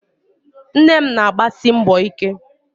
Nne m na-agbasi mbọ ike